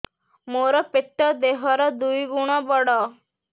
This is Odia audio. ମୋର ପେଟ ଦେହ ର ଦୁଇ ଗୁଣ ବଡ